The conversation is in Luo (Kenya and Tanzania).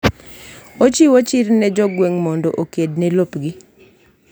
Ochiwo chir ne jo gweng' mondo oked ne lopgi